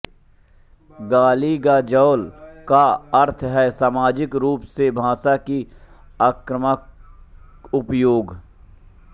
गालीगलौज का अर्थ है सामाजिक रूप से भाषा की आक्रमक उपयोग